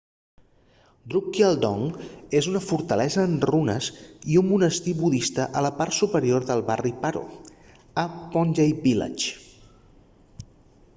drukgyal dzong és una fortalesa en runes i un monestir budista a la part superior del barri paro a phondey village